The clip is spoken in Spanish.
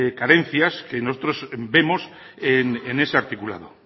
carencias que nosotros vemos en ese articulado